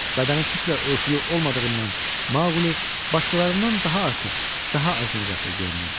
Bədəni tüklə örtülü olmadığından Maquli başqalarından daha artıq, daha acınacaqlı görünürdü.